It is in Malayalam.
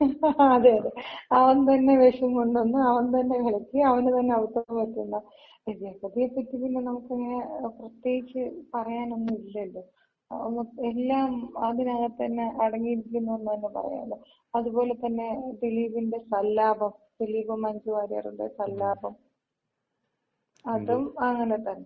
അതെ അതെ. അവൻ തന്നെ വെഷം കൊണ്ട് വന്ന്, അവൻ തന്നെ കലക്കി അവന് തന്നെ അബദ്ധം പറ്റുന്ന. ജഗതിയെ പറ്റി നമുക്കങ്ങന പിന്നെ പ്രേത്യേകിച്ച് പറയാനൊന്നും ഇല്ലല്ലോ. എല്ലാം അതിനകത്ത് തന്നെ അടങ്ങിയിരിക്കുന്നന്ന് തന്ന പറയാം. അത്പോല തന്നെ ദിലീപിന്‍റെ സല്ലാപം. ദിലീപും മഞ്ജു വാര്യറിന്‍റെം സല്ലാപം. അതും അങ്ങനെതന്ന.